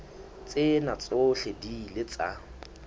tsena tsohle di ile tsa